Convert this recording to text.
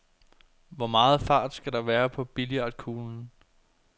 Hvor meget fart skal der være på billiardkuglen?